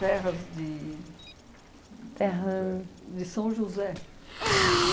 Terras de Terra de São José.